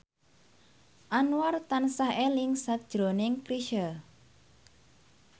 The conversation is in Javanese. Anwar tansah eling sakjroning Chrisye